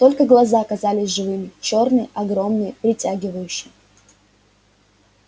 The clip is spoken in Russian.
только глаза казались живыми чёрные огромные притягивающие